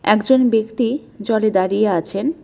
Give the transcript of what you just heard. একজন ব্যক্তি জলে দাঁড়িয়ে আছেন।